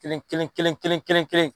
Kelen kelen kelen kelen kelen kelen